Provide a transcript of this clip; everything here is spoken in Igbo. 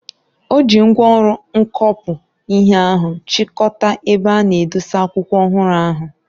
O ji ngwaọrụ mkọkpụ ihe ahụ chịkọta ebe a na edosa akwụkwọ ọhụrụ ahụ.